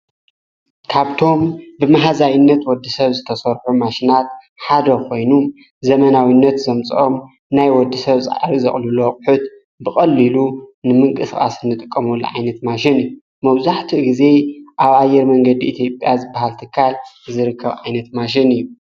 ካብቶም ብመሕዛይነት ወዲ ሰብ ዝተሠርሑ ማሽናት ሓደ ኾይኑ ዘመናዊነት ዘምጾኦም ናይ ወዲ ሰብ ፃዓሪ ዘቕሉለወቕሑት ብቐልኢሉ ንምንቂስፋስ ንጥቀመለዓይነት ማሽን እዩ መውዛኅቲ ጊዜ ኣብኣየር መንገዲ ኤቲጴያዝ በሃልተካል ዝርከብ ዓይነት ማሽን እዩ።